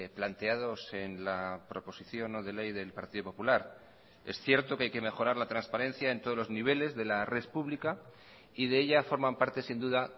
planteados en la proposición no de ley del partido popular es cierto que hay que mejorar la transparencia en todos los niveles de la red pública y de ella forman parte sin duda